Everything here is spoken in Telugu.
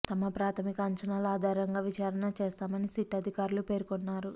తమ ప్రాథమిక అంచనాల ఆధారంగా విచారణ చేస్తామని సిట్ అధికారులు పేర్కొన్నారు